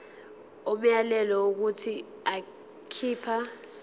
umyalelo wokuthi akhipha